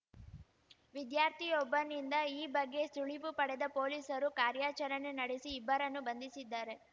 ವಿದ್ಯಾರ್ಥಿಯೊಬ್ಬನಿಂದ ಈ ಬಗ್ಗೆ ಸುಳಿವು ಪಡೆದ ಪೊಲೀಸರು ಕಾರ್ಯಾಚರಣೆ ನಡೆಸಿ ಇಬ್ಬರನ್ನು ಬಂಧಿಸಿದ್ದಾರೆ